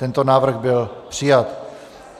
Tento návrh byl přijat.